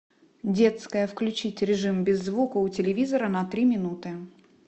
детская включить режим без звука у телевизора на три минуты